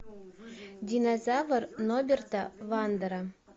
динозавр ноберта вандера